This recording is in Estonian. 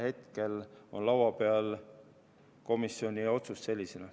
Hetkel on laua peal komisjoni otsus sellisena.